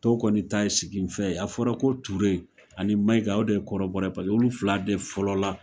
Tɔw kɔni ta ye siginfɛ ye a fɔra ko Ture ani Mayiga o de kɔrɔbɔrɔ ye pase olu fila de fɔlɔ la.